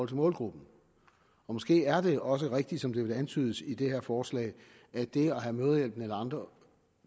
til målgruppen måske er det også rigtigt som det antydes i det her forslag at det at have mødrehjælpen eller andre